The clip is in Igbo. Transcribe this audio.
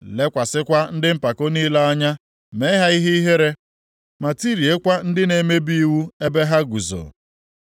lekwasịkwa ndị mpako niile anya mee ha ihe ihere, ma tiriekwa ndị na-emebi iwu ebe ha guzo.